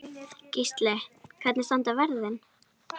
Gísli: Hvernig standa verðin?